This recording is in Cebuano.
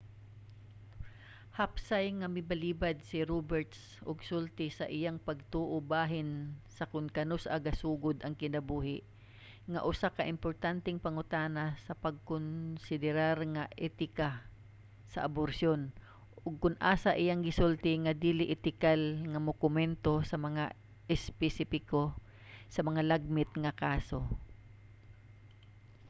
hapsay nga milbalibad si roberts og sulti sa iyang pagtuo bahin sa kon kanus-a gasugod ang kinabuhi nga usa ka importanteng pangutana sa pagkonsiderar sa etika sa aborsiyon ug kon asa iyang gisulti nga dili etikal nga mokomento sa mga espesipiko sa mga lagmit nga kaso